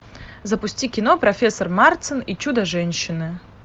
запусти кино профессор марстон и чудо женщины